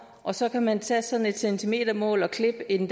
og så kan man tage sådan et centimetermål og klippe en